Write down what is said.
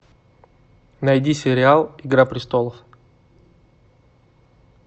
найди сериал игра престолов